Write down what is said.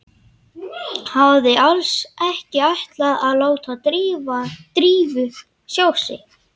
Hafði alls ekki ætlað að láta Drífu sjá sig.